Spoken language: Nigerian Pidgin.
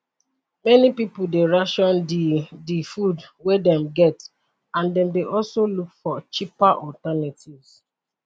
many pipo dey ration di di food wey dem get and dem dey also look for cheaper alternatives